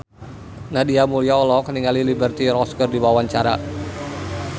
Nadia Mulya olohok ningali Liberty Ross keur diwawancara